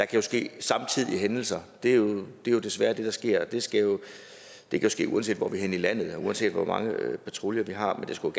kan ske samtidige hændelser det er jo desværre det der sker det kan ske uanset hvor vi er henne i landet og uanset hvor mange patruljer vi har men det skulle